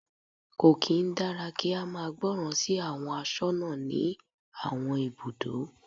Kò kín dára kí á máa gbọ́ràn sí àwọn aṣọ́nà ní àwọn ibùdó.